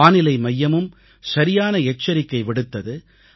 வானிலை மையமும் சரியான எச்சரிக்கை விடுத்தது